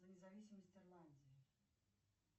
за независимость ирландии